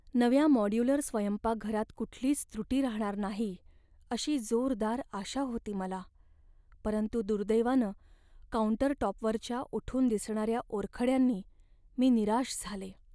नव्या मॉड्यूलर स्वयंपाकघरात कुठलीच त्रुटी राहणार नाही अशी जोरदार आशा होती मला, परंतु दुर्दैवानं काउंटरटॉपवरच्या उठून दिसणाऱ्या ओरखड्यांनी मी निराश झाले.